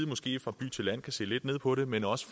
måske fra by til land kan se lidt ned på det men også